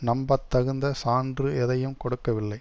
நம்பத்தகுந்த சான்று எதையும் கொடுக்கவில்லை